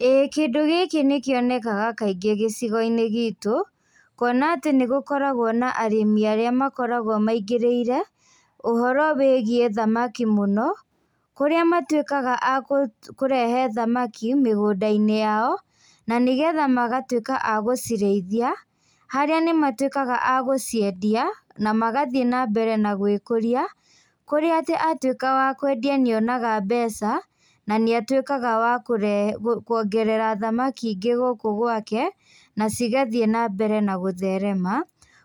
Ĩĩ kĩndũ gĩkĩ nĩkionekaga kaingĩ gĩcigoinĩ gitũ, kuona atĩ nĩgũkoragwo na arĩmi arĩa makoragwo maingĩrĩire, ũhoro wĩgiĩ thamaki mũno, kũrĩa matuĩkaga a kũ kũrehe thamaki mĩgũndainĩ yao, na nĩgetha magatuĩka a gũcirĩithia, harĩa matuĩkaga a gũciendia, na magathiĩ nambere na gwĩkũria, kũrĩa atĩ atuĩka wa kwendia nĩonaga mbeca, na nĩatuĩkaga wa kũrehe kuongerea thamaki ingĩ gũkũ gwake, na cigathiĩ nambere na gũtherema,